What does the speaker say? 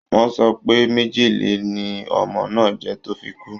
Wọ́n sọ pé májèlè ni ọmọ náà jẹ tó fi kú